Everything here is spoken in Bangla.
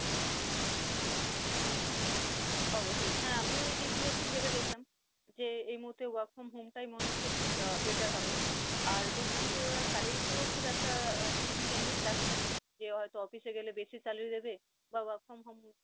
অবশ্যই আমিও এই দিক গুলো একটু ভেবে দেখলাম, যে এই মুহূর্তে work from home টাই মনে হচ্ছে আহ better হবে। আর দেখলাম যে ওরা salary এতেও খুব একটা কিছু changes রাখছে না, যে হয়ত office এ গেলে বেশি salary দেবে